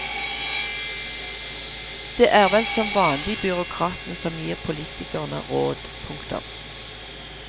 Det er vel som vanlig byråkratene som gir politikerne råd. punktum